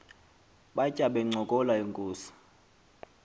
batya bencokola inkos